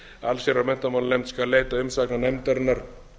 allsherjar og menntamálanefnd skal leita umsagnar nefndarinnar